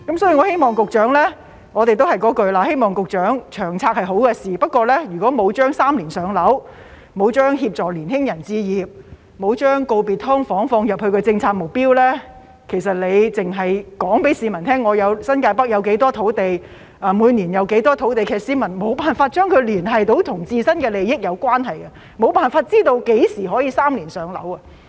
所以，我們都是說同一句話，《長遠房屋策略》是好事，不過如果沒有把"三年上樓"、沒有將協助年輕人置業、沒有將告別"劏房"放入政府的政策目標，而局長只是告訴市民，新界北有多少土地、每年有多少土地，其實市民沒有辦法將其與自身的利益聯繫得到，沒有辦法知道何時可以"三年上樓"。